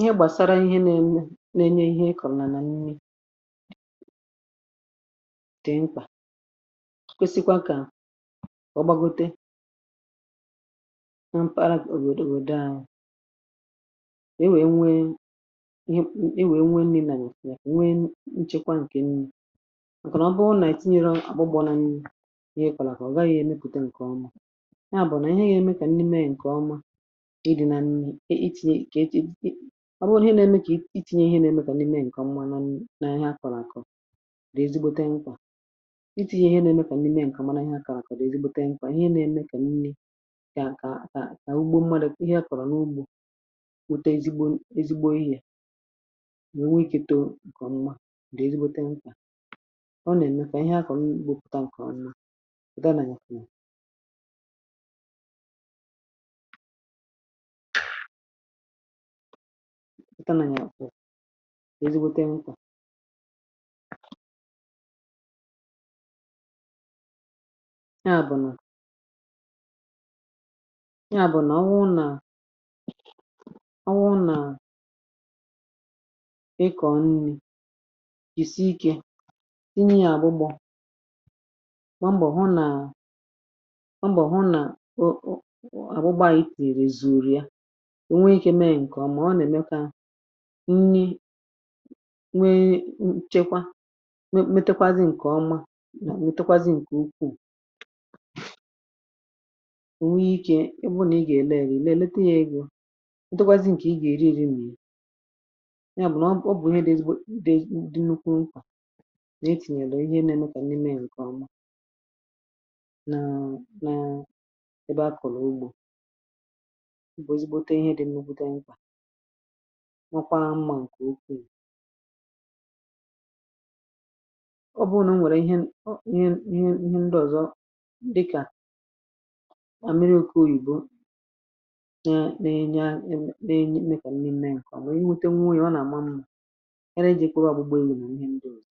Ihe gbàsara ihe na-enye, ihe i kọ̀rọ̀, nà nni dị̀ mkpà, kwesịkwa kà ọ gbagote. Mpara òbòdò ahụ̀ e nwè, nwè, nwè nnì, nà nwè nchekwa ǹkè nni. Ǹkè nọ̀ bụụ nà itinyere àgbụgbọ nà nni. Ihe kọ̀là kà ọ gaghị̇ èmepùte ǹkè ọma. Ịdị̇ nà mmẹ̇, i tinye, kà echi̇ dị. Ọ bụrụ ihe na-ẹmẹ, kà i tinye. Ihe na-ẹmẹ, kà ndị mẹẹ ǹkọ mma. Na ihe a kọ̀rọ̀, àkọ̀ rà, ezigbote nkà. Ịtighị̇, ihe na-ẹmẹ, kà ndị mẹẹ ǹkọ̀ mara ihe. Àkọ̀rọ̀, ezigbote nkà, ihe na-ẹmẹ, kà nni. Kà a, kà a ugbȯ m̀madụ̇. Ihe a kọ̀rọ̀ n’ugbȯ, wète ezigbo, ezigbo ihė, nà o nwee ikė. Too ǹkọ̀ mma dị, ezigbote nkà. Ọ nà-ẹ̀mẹ kà ihe a kọ̀, nkpọpụta ǹkọ̀rọ̀ nà kòtọ. A nà ya kùnù ètanà, yà-àkwụ, èzigbote nkwà. Ya bụ̀ nà, ya bụ̀ nà ọ wụ, nà ọ wụ, nà ịkọ̀ nni̇. Ìsi ikė tinye ya àbụgbọ̀, mà mbọ̀ hụ nà o nweike mee ǹkè ọmà. Ọ nà-èmeka nni, nwe nchekwa. Metakwazị ǹkè ọma nọ̀, nwetakwazị ǹkè ukwuù. O nweike ikė. Ị bụ nà ị gà-èlekè, èlekè, elete yȧ egȯ. Ntekwazị ǹkè, ị gà-èriri nri. Ya bụ̀ nà ọ bụ̀ ihe dị, ịdị dị, nnukwu nkwà, nà etìnyèlè ihe na-emekà nni mee ǹkè ọma. Nà m̀bụ̀, ezigbote ihe dị̇ nnobùde mkpà n’okwarȧ mmȧ ǹkè okwu. Ì, ọ bụrụnà m nwèrè ihe, ihe, ihe. Ndị ọ̀zọ dịkà mà mmiri okwu Ìgbo mee, na-enye, mee kà m n’ime ǹkèọ̀. Nwèrè iwete, nwunwè. Ị nà-àma mmȧ, kere ijikwa ụlọ̀. Bụ̀gbèlù nà ihe ndị ọ̀zọ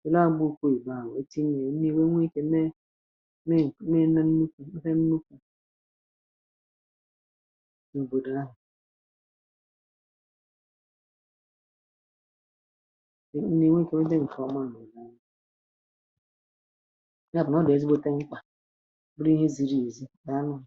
dola, bụ̇ okwu Ìgbo. À nwète ihe, nwere, nwee ikė, mee òkwu, mee nà nnukwu̇. Nà hẹ, nnukwu òtù ahụ̀.